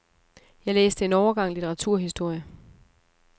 Jeg læste en overgang litteraturhistorie.